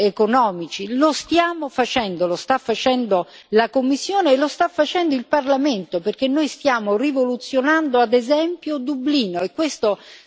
Lo stiamo facendo, lo sta facendo la Commissione e lo sta facendo il Parlamento, perché noi stiamo rivoluzionando, ad esempio, Dublino, e questo si deve sapere.